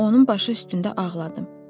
Onun başı üstündə ağladım.